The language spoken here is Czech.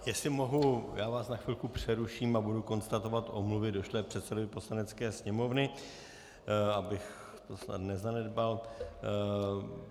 Jestli mohu, já vás na chvilku přeruším a budu konstatovat omluvy došlé předsedovi Poslanecké sněmovny, abych to snad nezanedbal.